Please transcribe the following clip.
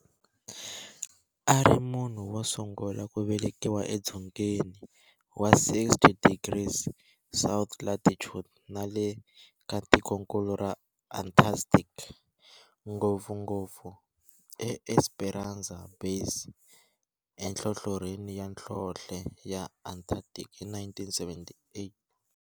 A ri munhu wosungula ku velekiwa edzongeni wa 60 degrees south latitude nale ka tikonkulu ra Antarctic, ngopfungopfu eEsperanza Base enhlohlorhini ya nhlonhle ya Antarctic hi 1978.